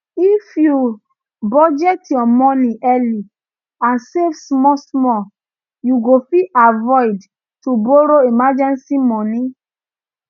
if you budget your moni early and save small small you go fit avoid to borro emergency moni